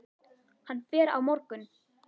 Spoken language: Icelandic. Hann fer á morgun.